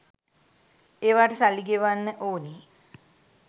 ඒවාට සල්ලි ගෙවන්න ඕනේ